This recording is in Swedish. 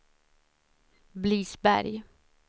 Blidsberg